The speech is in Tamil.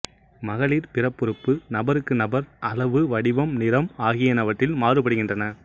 மகளிர் பிறப்புறுப்பு நபருக்கு நபர் அளவு வடிவம் நிறம் ஆகியனவற்றில் மாறுபடுகின்றன